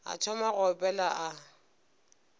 a thoma go opela a